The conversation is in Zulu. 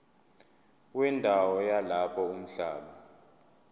wendawo yalapho umhlaba